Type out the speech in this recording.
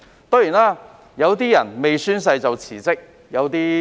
當然，有些人未宣誓便已辭職。